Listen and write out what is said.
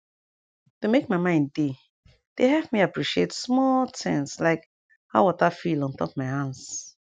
to make my mind dey dey help me appreciate small tins like how water feel ontop my hands